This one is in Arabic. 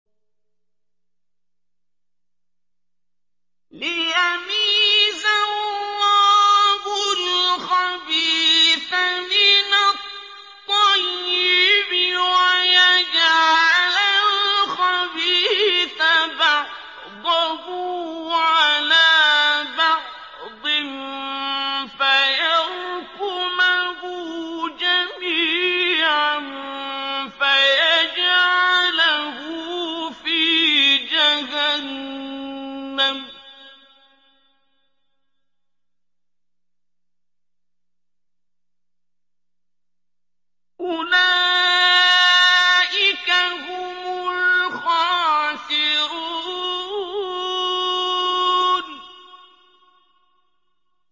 لِيَمِيزَ اللَّهُ الْخَبِيثَ مِنَ الطَّيِّبِ وَيَجْعَلَ الْخَبِيثَ بَعْضَهُ عَلَىٰ بَعْضٍ فَيَرْكُمَهُ جَمِيعًا فَيَجْعَلَهُ فِي جَهَنَّمَ ۚ أُولَٰئِكَ هُمُ الْخَاسِرُونَ